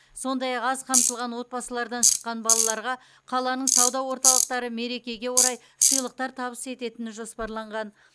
сондай ақ аз қамтылған отбасылардан шыққан балаларға қаланың сауда орталықтары мерекеге орай сыйлықтар табыс ететіні жоспарланған